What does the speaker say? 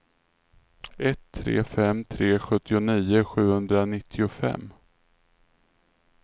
ett tre fem tre sjuttionio sjuhundranittiofem